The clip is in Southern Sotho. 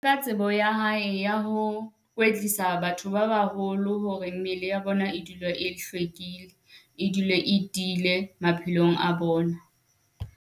Ka tsebo ya hae ya ho kwetlisa batho ba baholo hore mmele ya bona e dula e hlwekile, e dule e tiile maphelong a bona.